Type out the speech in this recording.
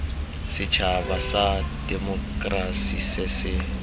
setšhaba sa temokerasi se se